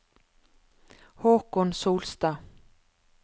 Håkon Solstad